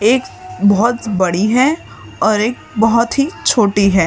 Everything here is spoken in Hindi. एक बहुत बड़ी है और एक बहुत ही छोटी है।